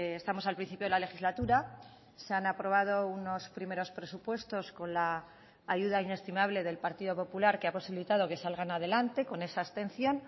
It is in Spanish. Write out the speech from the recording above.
estamos al principio de la legislatura se han aprobado unos primeros presupuestos con la ayuda inestimable del partido popular que ha posibilitado que salgan adelante con esa abstención